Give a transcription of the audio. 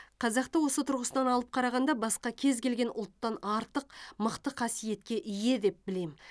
қазақты осы тұрғысынан алып қарағанда басқа кез келген ұлттан артық мықты қасиетке ие деп білем